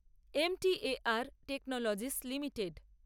M T A R technologies limited